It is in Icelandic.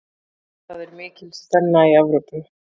Það er mikil spenna í Evrópu.